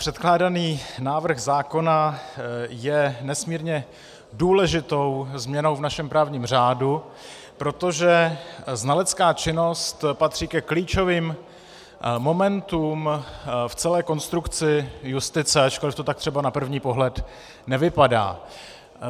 Předkládaný návrh zákona je nesmírně důležitou změnou v našem právním řádu, protože znalecká činnost patří ke klíčovým momentům v celé konstrukci justice, ačkoliv to tak třeba na první pohled nevypadá.